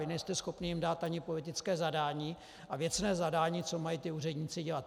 Vy nejste schopni jim dát ani politické zadání a věcné zadání, co mají ti úředníci dělat.